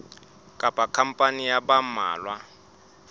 kapa khampani ya ba mmalwa